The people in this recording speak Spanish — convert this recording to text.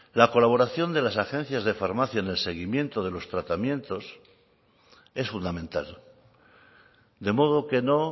la colaboración de las agencias de farmacia en el seguimiento de los tratamientos es fundamental de modo que no